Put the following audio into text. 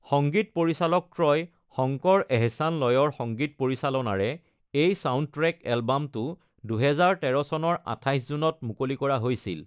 সংগীত পৰিচালকত্ৰয় শংকৰ-এহছান-লয়ৰ সংগীত পৰিচালনাৰে এই ছাউণ্ডট্ৰেক এলবামটো ২০১৩ চনৰ ২৮ জুনত মুকলি কৰা হৈছিল।